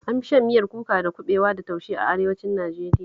An fi shan miyar kuka da kuɓewa da taushe a Arewacin Najeriya